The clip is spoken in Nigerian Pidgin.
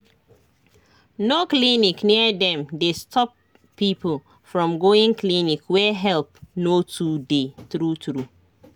no clinic near dem dey stop people from going clinic where help no too dey true true